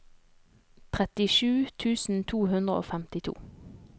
trettisju tusen to hundre og femtito